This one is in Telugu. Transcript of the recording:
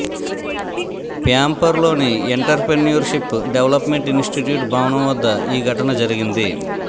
ప్యాంపోర్లోని ఎంటర్ప్రెన్యూర్షిప్ డెవలప్మెంట్ ఇన్స్టిట్యూట్ భవనం వద్ద ఈ ఘటన జరిగింది